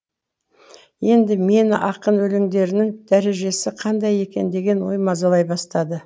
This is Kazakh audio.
енді мені ақын өлеңдерінің дәрежесі қандай екен деген ой мазалай бастады